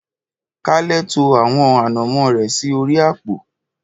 Kale to àwọn ànàmó rẹ̀ sí orí àpò